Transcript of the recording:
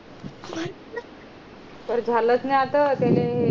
पण झालं च नाय असं ते लई हे ये